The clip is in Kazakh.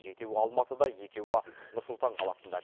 жетеуі алматыда екеуі нұр сұлтан қаласында